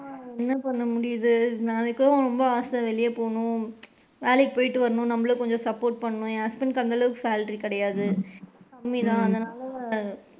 ஆஹ் என்ன பண்ண முடியுது எனக்குலா ரொம்ப ஆச வெளில போகணும், வேலைக்கு போயிட்டு வருவோம் நம்மளும் கொஞ்சம் support பண்ணுவோம் என் husband டுக்கு அந்த அளவுக்கு salary கிடையாது கம்மிதான் அதனால,